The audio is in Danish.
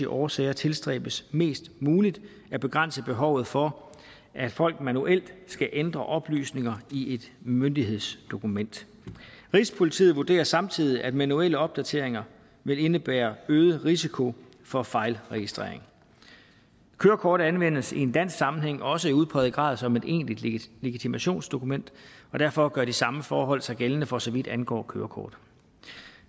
årsager tilstræbes mest muligt at begrænse behovet for at folk manuelt skal ændre oplysninger i et myndighedsdokument rigspolitiet vurderer samtidig at manuelle opdateringer vil indebære øget risiko for fejlregistrering kørekort anvendes i en dansk sammenhæng også i udpræget grad som et egentlig legitimationsdokument og derfor gør de samme forhold sig gældende for så vidt angår kørekort